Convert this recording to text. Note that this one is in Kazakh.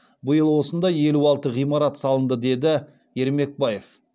биыл осындай елу алты ғимарат салынды деді ермекбаев